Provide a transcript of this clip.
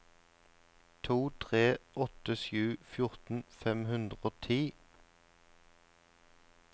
to tre åtte sju fjorten fem hundre og ti